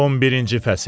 11-ci fəsil.